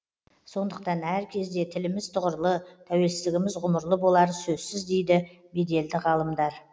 сондықтан әркезде тіліміз тұғырлы тәуелсіздігіміз ғұмырлы болары сөзсіз дейді беделді ғалымдар